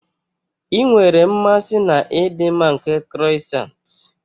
Ị nwere mmasị na ịdị mma nke croissants.